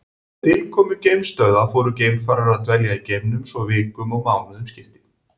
Með tilkomu geimstöðva fóru geimfarar að dvelja í geimnum svo vikum og mánuðum skipti.